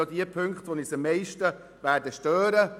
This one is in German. Ich denke, diese Punkte werden uns am meisten stören.